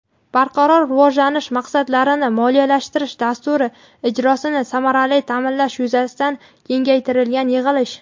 Barqaror rivojlanish maqsadlarini moliyalashtirish dasturi ijrosini samarali ta’minlash yuzasidan kengaytirilgan yig‘ilish.